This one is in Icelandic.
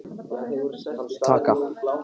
Taka Norrænu til Færeyja?